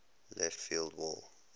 left field wall